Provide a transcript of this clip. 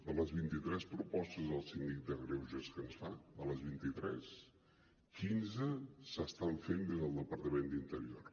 de les vint i tres propostes del síndic de greuges que ens fa de les vint i tres quinze s’estan fent des del departament d’interior